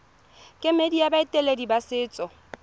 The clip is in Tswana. kemedi ya baeteledipele ba setso